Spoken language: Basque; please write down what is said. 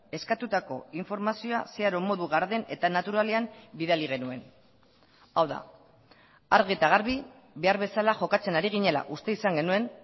eskatutako informazioa zeharo modu garden eta naturalean bidali genuen hau da argi eta garbi behar bezala jokatzen ari ginela uste izan genuen